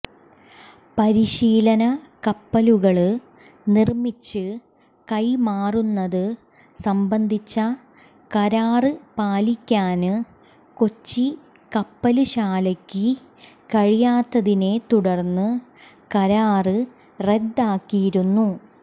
പരിശീലന കപ്പലുകള് നിര്മിച്ച് കൈമാറുന്നത് സംബന്ധിച്ച കരാര് പാലിക്കാന് കൊച്ചി കപ്പല്ശാലയ്ക്ക് കഴിയാത്തതിനെ തുടര്ന്ന് കരാര് റദ്ദാക്കിയിരുന്നു